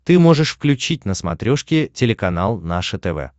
ты можешь включить на смотрешке телеканал наше тв